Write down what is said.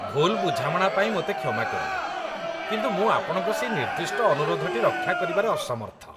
ଭୁଲ୍ ବୁଝାମଣା ପାଇଁ ମୋତେ କ୍ଷମା କରିବେ, କିନ୍ତୁ ମୁଁ ଆପଣଙ୍କ ସେହି ନିର୍ଦ୍ଦିଷ୍ଟ ଅନୁରୋଧଟି ରକ୍ଷା କରିବାରେ ଅସମର୍ଥ।